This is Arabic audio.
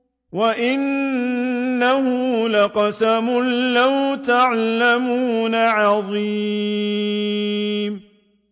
وَإِنَّهُ لَقَسَمٌ لَّوْ تَعْلَمُونَ عَظِيمٌ